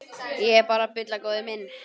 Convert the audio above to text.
Ég er bara að bulla góði minn.